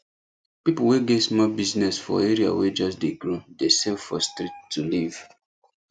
people wey get small business for area wey just dey grow dey sell for street to live